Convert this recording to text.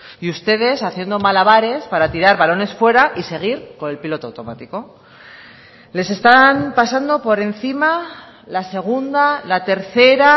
y ustedes haciendo malabares para tirar balones fuera y seguir con el piloto automático les están pasando por encima la segunda la tercera